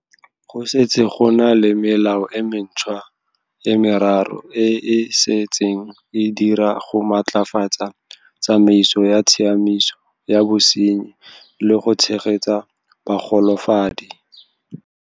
Go setse go na le melao e mentšhwa e meraro e e se tseng e dira go maatlafatsa tsamaiso ya tshiamiso ya bosenyi le go tshegetsa bagolafadi.